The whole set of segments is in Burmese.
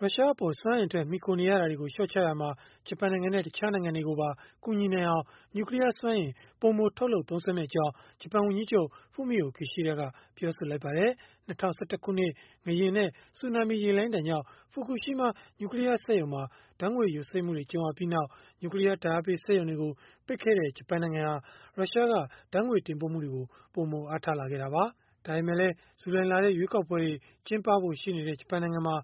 ရုရှားအပေါ် စွမ်းအင်အတွက် မှီခိုနေရတာတွေကို လျှော့ချရာမှာ ဂျပန်နိုင်ငံနဲ့ တခြားနိုင်ငံတွေကိုပါ ကူညီနိုင်အောင် နျူကလီးယား စွမ်းအင် ပိုမိုထုတ်လုပ် သုံးစွဲမယ့်အကြောင်း ဂျပန်ဝန်ကြီးချုပ် Fumio Kishida ကပြောလိုက်ပါတယ်။ ၂၀၁၁ ခုနှစ်က ငလျင်နဲ့ ဆူနာမီရေလှိုင်းဒဏ်ကြောင့် ဖူကူရှီမား နျူကလီးယား စက်ရုံမှာ ဓာတ်ငွေ့ယိုစိမ့်မှုတွေ ကြုံခဲ့ရပြီးနောက်၊ နျူကလီးယား ဓာတ်အားပေး စက်ရုံတွေကို ပိတ်ခဲ့တဲ့ ဂျပန်နိုင်ငံဟာ ရုရှားက ဓာတ်ငွေ့တင်ပို့မှုတွေကို ပိုမို အားထားလာခဲ့တာပါ။ ဒါပေမဲ့လည်း ဇူလိုင်လထဲ ရွေးကောက်ပွဲတွေ ကျင်းပဖို့ရှိနေတဲ့ ဂျပန်နိုင်ငံမှာ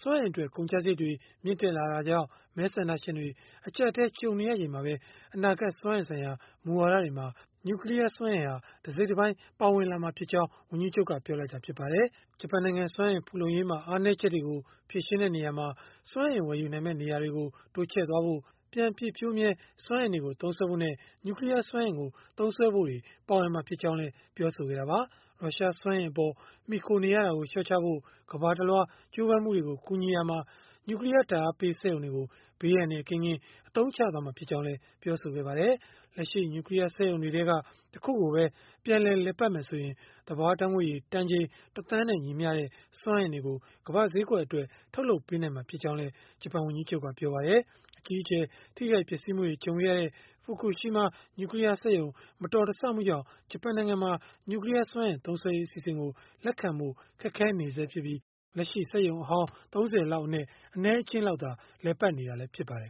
စွမ်းအင်အတွက် ကုန်ကျစရိတ်တွေ မြင့်တက်လာတာကြောင့် မဲဆန္ဒရှင်တွေ အကျပ်အတည်း ကြုံနေရချိန်မှာပဲ အနာဂတ် စွမ်းအင်ဆိုင်ရာ မူဝါဒတွေမှာ နျူကလီးယားစွမ်းအင်ဟာ တစိတ်တပိုင်း ပါဝင်မှာဖြစ်ကြောင်း ဝန်ကြီးချုပ်က ပြောလိုက်တာလည်း ဖြစ်ပါတယ်။ ဂျပန်နိုင်ငံ စွမ်းအင် ဖူလုံရေးမှာ အားနည်းချက်တွေကို ဖြေရှင်းရာမှာ စွမ်းအင်ဝယ်ယူနိုင်မယ့် နေရာတွေကို တိုးချဲ့ဖို့၊ ပြန်ပြည့်ဖြိုးမြဲ စွမ်းအင်တွေကို သုံးစွဲဖို့နဲ့ နျူကလီးယား စွမ်းအင်ကို သုံးစွဲဖို့ ပါဝင်မှာဖြစ်ကြောင်း ပြောဆိုခဲ့တာပါ။ ရုရှားစွမ်းအင်အပေါ် မှီခိုနေရတာကို လျှော့ချဖို့ ကမ္ဘာတလွှား ကြိုးပမ်းမှုတွေကို ကူညီရာမှာ နျူကလီးယား ဓာတ်အားပေး စက်ရုံတွေကို ဘေးအန္တရာယ်ကင်းကင်း အသုံးချသွားမှာ ဖြစ်ကြောင်းလည်း ပြောပါတယ်။ လက်ရှိ နျူကလီးယား စက်ရုံတွေထဲက တခုကိုပဲ ပြန်လည်ပတ်မယ်ဆိုရင် သဘာဝဓာတ်ငွေ့ရည် တန်ချိန် ၁ သန်းနဲ့ ညီမျှတဲ့ စွမ်းအင်တွေကို ကမ္ဘာ့ဈေးကွက်အတွက် ထုတ်လုပ်ပေးနိုင်မှာ ဖြစ်ကြောင်းလည်း ဂျပန်ဝန်ကြီးချုပ်က ပြောပါတယ်။ အကြီးအကျယ် ထိခိုက်ပျက်စီးမှုတွေ ကြုံခဲ့ရတဲ့ ဖူကူရှီမား နျူကလီးယား စက်ရုံ မတော်တဆမှုကြောင့် ဂျပန်နိုင်ငံမှာ နျူကလီးယားစွမ်းအင် သုံးစွဲရေး အစီအစဉ်ကို လက်ခံဖို့ ခက်ခဲနေဆဲဖြစ်ပြီး၊ လက်ရှိ စက်ရုံအဟောင်း ၃၀ လောက်အနက် အနည်းအကျဉ်းလောက်သာ လည်ပတ်နေတာ ဖြစ်ပါတယ်